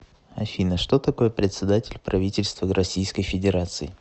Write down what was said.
афина что такое председатель правительства российской федерации